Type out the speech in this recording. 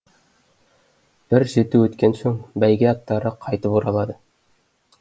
бір жеті өткен соң бәйге аттары қайтып оралады